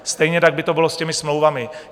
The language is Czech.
Stejně tak by to bylo s těmi smlouvami.